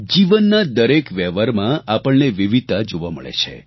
જીવનના દરેક વ્યવહારમાં આપણને વિવિધતા જોવા મળે છે